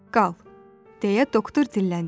"Qal," deyə doktor dilləndi.